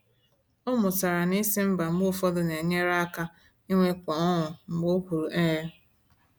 O mụtara na ịsị ‘mba’ mgbe ụfọdụ na-enyere ya aka inwekwu ọṅụ mgbe o kwuru ‘ee’.